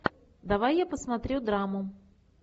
давай я посмотрю драму